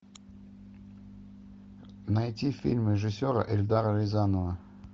найти фильм режиссера эльдара рязанова